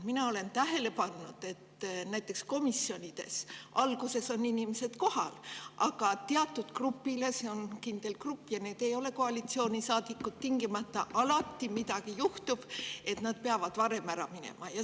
Mina olen tähele pannud, et näiteks komisjonides alguses on inimesed kohal, aga teatud grupil – see on kindel grupp ja need ei ole koalitsioonisaadikud – tingimata alati midagi juhtub, nii et nad peavad varem ära minema.